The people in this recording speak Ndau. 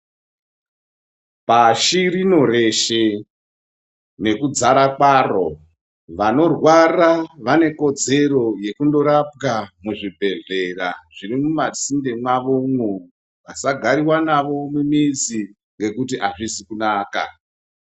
Pashi rino reshe nekudzara kwaro vanorwara vane kodzero yekundorapwa muzvibhedhlera zviri mumasinde mwawomwo vasagariwa navo mumizi ngekuti azvizi kunaka.